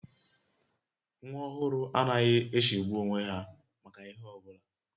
Nwa ọhụrụ anaghị echegbu onwe ha maka ihe ọbụla